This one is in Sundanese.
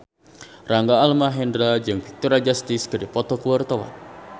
Rangga Almahendra jeung Victoria Justice keur dipoto ku wartawan